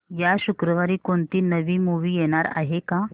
या शुक्रवारी कोणती नवी मूवी येणार आहे का